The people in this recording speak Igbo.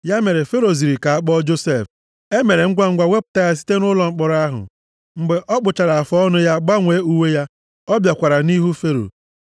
Ya mere Fero ziri ozi ka a kpọọ Josef. E mere ngwangwa wepụta ya site nʼụlọ mkpọrọ ahụ. Mgbe ọ kpụchara afụọnụ + 41:14 Otu ihe e ji maara ndị Ijipt bụ ịkpụcha agịrị isi na afụọnụ ha, ma nke a bụghị omenaala ndị Juu. ya, gbanwee uwe ya, ọ bịakwara nʼihu Fero.